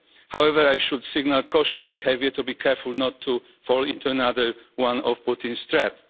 However, I should signal cautious behaviour, to be careful not to fall into another one of Putin's traps.